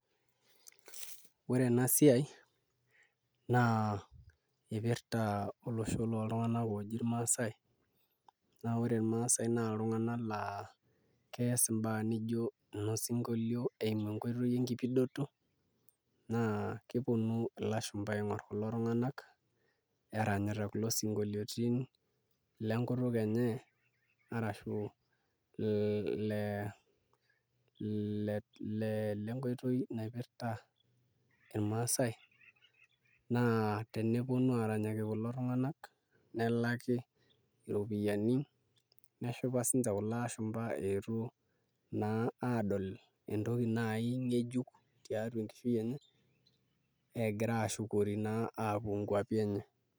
Ore ena siai naa ipirta olosho loltung'anak ooji irmaasai naa ore irmaasai naa iltung'anak laa kees imbaa nijio inosinkolio eimu enkoitoi enkipidoto naa keponu ilshumba aing'orr kulo tung'anak eranyita kulo sinkolioitin lenkutuk enye arashu ilenkoitoi naipirta irmaasai naa teneponu aaranyaki kulo tung'anak nelaki iropiyiani neshipa siinche kulo ashumba eetuo naa aadol entoki naai ng'ejuk tiatua enkishui enye egira aashukori naa aapuo nkuapi enye.